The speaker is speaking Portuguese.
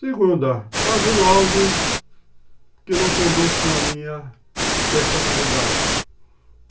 Segunda, está havendo algo que não conduz com a minha personalidade.